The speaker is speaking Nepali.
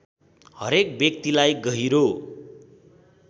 हरेक व्यक्तिलाई गहिरो